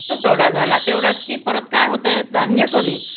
तुटवडा झाला तेवढाच कि परत काय होतंय धान्य कमी